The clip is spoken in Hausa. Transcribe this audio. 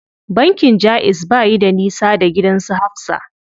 Bankin jaiz bayi da nisa da gidan su Hafsa.